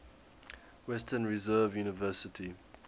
western reserve university